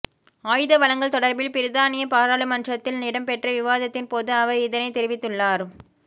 ஆயுத வழங்கல் தொடர்பில் பிரித்தானிய பாராளுமன்றத்தில் இடம்பெற்ற விவாத்தின் போது அவர் இதனைத் தெரிவித்துள்ளார்